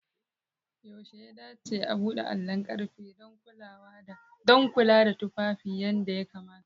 Yaushe ya dace a buɗe allon ƙarfe don kula da tufafi yadda ya kamata?